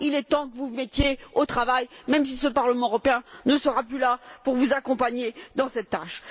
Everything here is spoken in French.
Il est temps que vous vous mettiez au travail, même si ce Parlement européen ne sera plus là pour vous accompagner dans cette tâche.